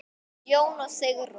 Jón og Sigrún.